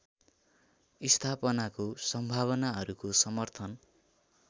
स्थापनाको सम्भावनाहरूको समर्थन